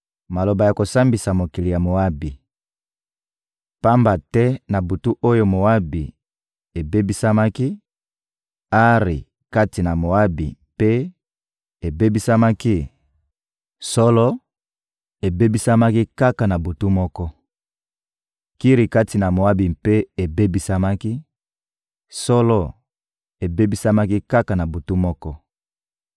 Maloba ya kosambisa mokili ya Moabi: Pamba te na butu oyo Moabi ebebisamaki, Ari kati na Moabi mpe ebebisamaki, solo, ebebisamaki kaka na butu moko! Kiri kati na Moabi mpe ebebisamaki; solo, ebebisamaki kaka na butu moko!